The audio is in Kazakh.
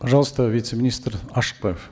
пожалуйста вице министр ашыкбаев